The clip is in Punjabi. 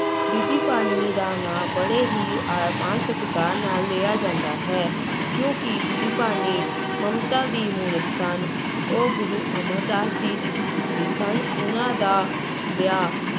ਬੀਬੀ ਭਾਨੀ ਦਾ ਨਾਂ ਬੜੇ ਹੀ ਅਹ ਮਾਣ ਸਤਿਕਾਰ ਨਾਲ ਲਿਆ ਜਾਂਦਾ ਹੈ, ਕਿਉਂਕਿ ਬੀਬੀ ਭਾਨੀ ਮਮਤਾ ਦੀ ਮੂਰਤ ਸਨ, ਉਹ ਗੁਰੂ ਅਮਰਦਾਸ ਜੀ ਦੀ ਸਪੁੱਤਰੀ ਸਨ, ਉਹਨਾਂ ਦਾ ਵਿਆਹ